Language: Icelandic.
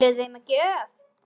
Eruði með gjöf?